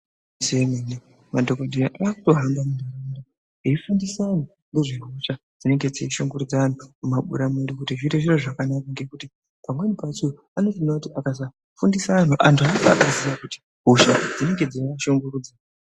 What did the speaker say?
Igwinyiso yemene madhokodheya akutohamba eifundisa antu nezvehosha dzinenge dzeishungirudza anhu mumabuya kuti zviite zviro zvakanaka ngekuti pamweni pacho anotoona kuti akasafundisa anhu , antu aafi akaziya kuti hosha dzinenge dzeivashungurudza.